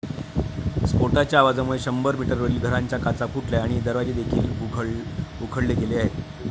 स्फोटाच्या आवाजामुळे शंभर मीटरवरील घरांच्या काचा फुटल्या आणि दरवाजेदेखील उखडले गेले आहेत.